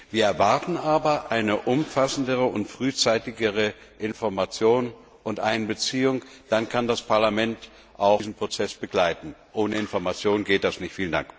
Wir erwarten aber eine umfassendere und frühzeitigere Information und Einbeziehung. Dann kann das Parlament diesen Prozess auch begleiten. Ohne Information geht das nicht!